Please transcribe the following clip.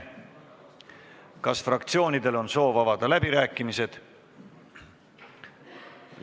Kas fraktsioonidel on soovi avada läbirääkimised?